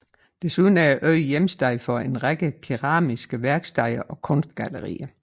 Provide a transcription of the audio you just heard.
Desuden er øen hjemsted for en række keramiske værksteder og kunstgallerier